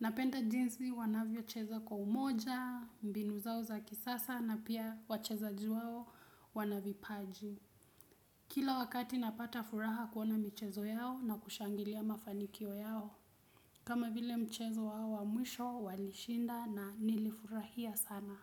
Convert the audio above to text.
Napenda jinsi wanavyocheza kwa umoja, mbinu zao za kisasa na pia wachezaji wao wanavipaji. Kila wakati napata furaha kuona michezo yao na kushangilia mafanikio yao. Kama vile mchezo wao wa mwisho walishinda na nilifurahia sana.